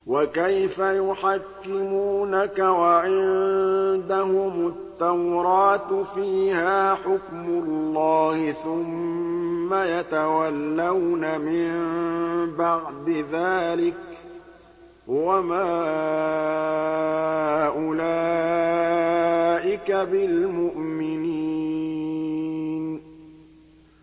وَكَيْفَ يُحَكِّمُونَكَ وَعِندَهُمُ التَّوْرَاةُ فِيهَا حُكْمُ اللَّهِ ثُمَّ يَتَوَلَّوْنَ مِن بَعْدِ ذَٰلِكَ ۚ وَمَا أُولَٰئِكَ بِالْمُؤْمِنِينَ